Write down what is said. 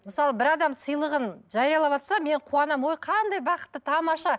мысалы бір адам сыйлығын жариялаватса мен қуанамын ой қандай бақытты тамаша